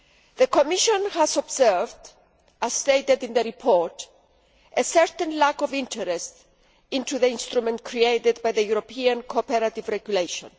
The Commission has observed, as stated in the report, a certain lack of interest in the instrument created by the European Cooperative Regulation.